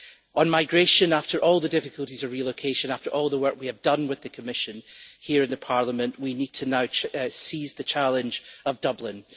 On migration, after all the difficulties of relocation and after all the work we have done with the Commission here in Parliament, we now need to seize the challenge of Dublin.